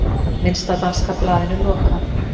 Minnsta danska blaðinu lokað